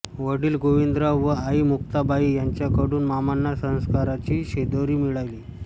वडील गोविंदराव व आई मुक्ताबाई यांच्याकडून मामांना संस्काराची शिदोरी मिळाली